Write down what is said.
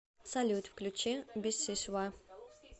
салют включи бисисва